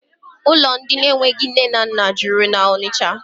Ụlọ ndị enweghị nne na nna juru na Ọnịcha.